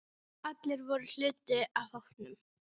Allir voru hluti af hópnum.